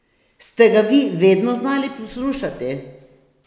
Ste ga vi vedno znali poslušati?